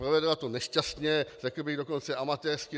Provedla to nešťastně, řekl bych dokonce amatérsky.